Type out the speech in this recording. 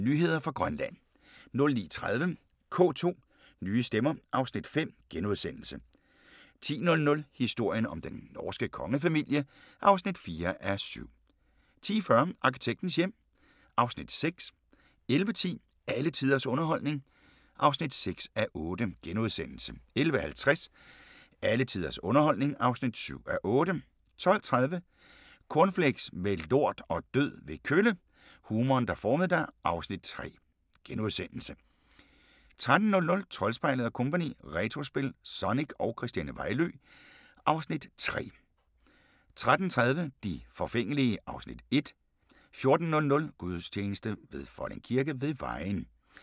09:00: Nyheder fra Grønland 09:30: K2: Nye stemmer (Afs. 5)* 10:00: Historien om den norske kongefamilie (4:7) 10:40: Arkitektens hjem (Afs. 6) 11:10: Alle tiders underholdning (6:8)* 11:50: Alle tiders underholdning (7:8) 12:30: Cornflakes med lort og død ved kølle - humoren, der formede dig (Afs. 3)* 13:00: Troldspejlet & Co – Retrospil, Sonic – og Christiane Vejlø (Afs. 3)* 13:30: De forfængelige (Afs. 1) 14:00: Gudstjeneste fra Folding Kirke ved Vejen